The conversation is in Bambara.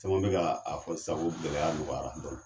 Caman bɛ ka a fɔ sisan ko gɛlɛyaya nɔgɔyara dɔɔni.